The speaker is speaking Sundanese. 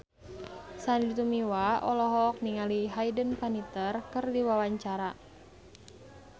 Sandy Tumiwa olohok ningali Hayden Panettiere keur diwawancara